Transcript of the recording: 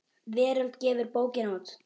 Veröld gefur bókina út.